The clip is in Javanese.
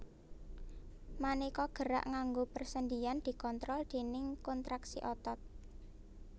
Manéka gerak nganggo persendian dikontrol déning kontraksi otot